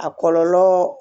A kɔlɔlɔ